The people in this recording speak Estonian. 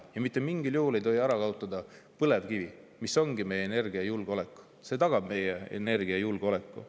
Ja mitte mingil juhul ei tohi ära kaotada põlevkivi, mis ongi meie energiajulgeolek, tagab meie energiajulgeoleku.